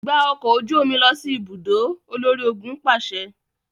Gba ọkọ oju omi lọ si ibudo, olori-ogun paṣẹ!